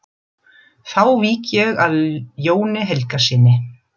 Þá vík ég að Jóni Helgasyni.